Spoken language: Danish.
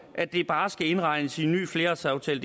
at det bare skal indregnes i en ny flerårsaftale